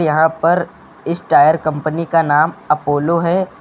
यहां पर इस टायर कंपनी का नाम अपोलो है।